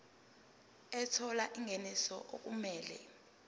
ethola ingeniso okumele